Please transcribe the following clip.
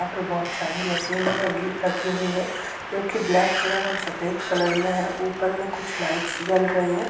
बहुत सारी मशीन -रखी हुई है जोकी ब्लैक कलर और सफेद कलर में है ऊपर में कुछ लाइट्स जल रही है |